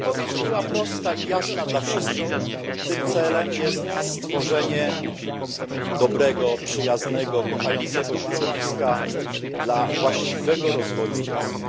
Odpowiedź była prosta i jasna dla wszystkich tym celem jest stworzenie dobrego, przyjaznego, kochającego środowiska dla właściwego rozwoju dziecka.